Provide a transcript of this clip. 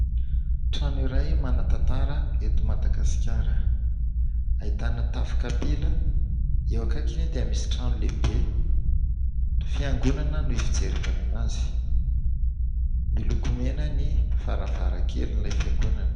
Trano iray manan-tantara eto Madagasikara. Ahitana tafo kapila, eo akaikiny dia misy trano lehibe, fiangonana ny fijerevana anazy. Miloko mena ny varavarankelin'ilay fiangonana.